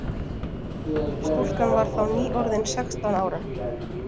Stúlkan var þá nýorðin sextán ára